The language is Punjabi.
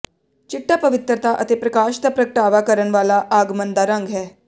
ਚਿੱਟਾ ਪਵਿੱਤਰਤਾ ਅਤੇ ਪ੍ਰਕਾਸ਼ ਦਾ ਪ੍ਰਗਟਾਵਾ ਕਰਨ ਵਾਲਾ ਆਗਮਨ ਦਾ ਰੰਗ ਹੈ